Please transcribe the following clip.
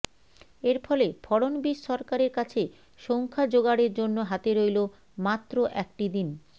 এর ফলে ফড়নবীশ সরকারের কাছে সংখ্যা যোগাড়ের জন্য হাতে রইল মাত্র একটি দিন